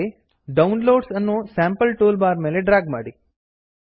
downloads downloads ಅನ್ನು sample toolbar ಮೇಲೆ drag ಮಾಡಿ